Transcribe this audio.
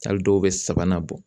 Hali dɔw bɛ sabanan bɔ